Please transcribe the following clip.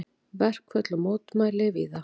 Verkföll og mótmæli víða